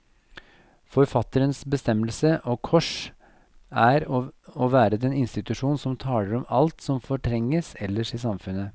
Forfatterens bestemmelse, og kors, er å være den institusjon som taler om alt som fortrenges ellers i samfunnet.